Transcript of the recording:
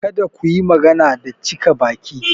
Kada ku yi magana da cika baki!